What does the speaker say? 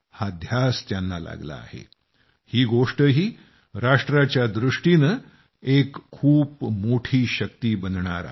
हा ध्यास त्यांना लागला आहे ही गोष्टही राष्ट्राच्या दृष्टीनं एक खूप मोठी शक्ती बनणार आहे